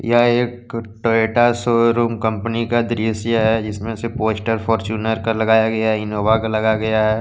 यह एक Toyota showroom company का दृश्य हैजिसमें से पोस्टर फॉर्च्यूनर का लगाया गयाइनोवा का लगाया गया है।